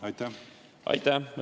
Aitäh!